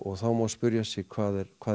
þá má spyrja sig hvað er hvað er